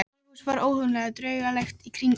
Draugahúsið var óhugnanlega draugalegt í rigningunni.